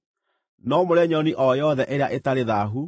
No mũrĩe nyoni o yothe ĩrĩa ĩtarĩ thaahu.